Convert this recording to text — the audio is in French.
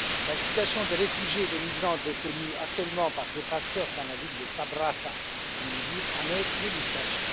La situation des réfugiés et des migrants détenus actuellement par des passeurs dans la ville de Sabratha en Libye en est l'illustration.